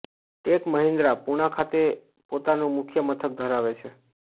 tech Mahindra Poona ખાતે પોતાનું મુખ્ય મથક ધરાવે છે